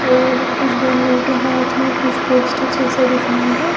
और कुछ बंदों के हाथ में कुछ पोस्टर जैसा दिख रहा है।